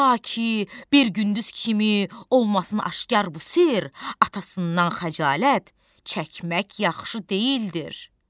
Ta ki bir gündüz kimi olmasın aşkar bu sirr, atasından xəcalət çəkmək yaxşı deyildir."